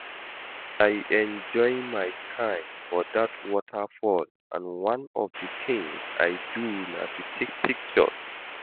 I enjoy my time for dat waterfall and one of the things I do na to take pictures